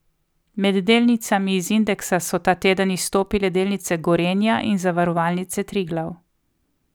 Med delnicami iz indeksa so ta teden izstopale delnice Gorenja in Zavarovalnice Triglav.